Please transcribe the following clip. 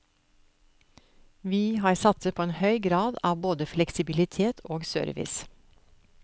Vi har satset på en høy grad av både fleksibilitet og service.